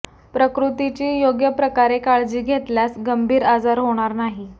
प्रकृतीची योग्य प्रकारे काळजी घेतल्यास गंभीर आजार होणार नाही